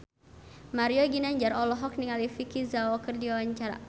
Mario Ginanjar olohok ningali Vicki Zao keur diwawancara